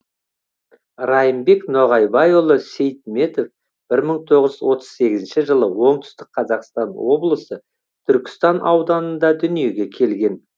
райымбек ноғайбайұлы сейтметов бір мың тоғыз жүз отыз сегізінші жылы оңтүстік қазақстан облысы түркістан ауданында дүниеге келген